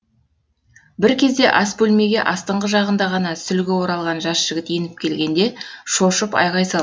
бір кезде ас бөлмеге астынғы жағында ғана сүлгі оралған жас жігіт еніп келгенде шошып айғай салды